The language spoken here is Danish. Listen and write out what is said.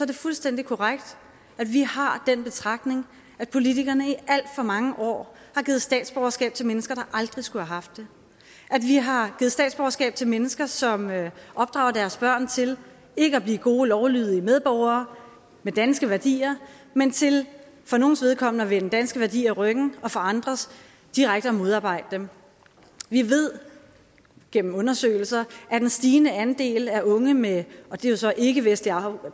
det fuldstændig korrekt at vi har den betragtning at politikerne i alt for mange år har givet statsborgerskab til mennesker der aldrig skulle have haft det at vi har givet statsborgerskab til mennesker som opdrager deres børn til ikke at blive gode lovlydige medborgere med danske værdier men til for nogles vedkommende at vende danske værdier ryggen og for andres direkte at modarbejde dem vi ved gennem undersøgelser at en stigende andel af unge med ikkevestlig